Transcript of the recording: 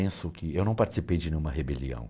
Penso que, eu não participei de nenhuma rebelião.